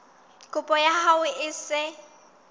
kopo ya hao e se